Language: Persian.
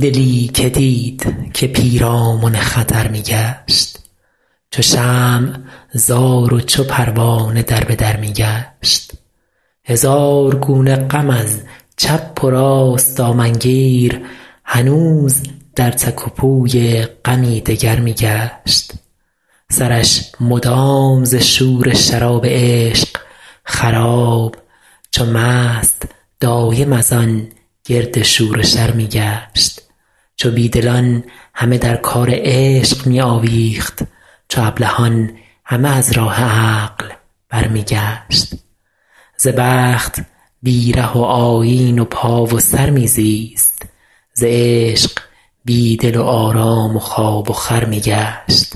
دلی که دید که پیرامن خطر می گشت چو شمع زار و چو پروانه در به در می گشت هزار گونه غم از چپ و راست دامن گیر هنوز در تک و پوی غمی دگر می گشت سرش مدام ز شور شراب عشق خراب چو مست دایم از آن گرد شور و شر می گشت چو بی دلان همه در کار عشق می آویخت چو ابلهان همه از راه عقل برمی گشت ز بخت بی ره و آیین و پا و سر می زیست ز عشق بی دل و آرام و خواب و خور می گشت